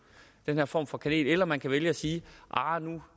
den her form for kanel eller man kan vælge at sige